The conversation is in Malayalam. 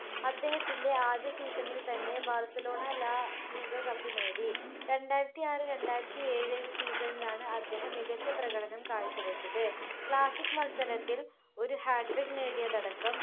അദ്ദേഹത്തിൻ്റെ ആദ്യ season ൽ തന്നെ ബാർസലോണ la liga cup നേടി രണ്ടായിരത്തിആറ് രണ്ടായിരത്തിഏഴ് season ലാണ് അദ്ദേഹം മികച്ച പ്രകടനം കാഴ്ച്ചവെച്ചത് classic മത്സരത്തിൽ ഒരു hatric നേടിയതടക്കം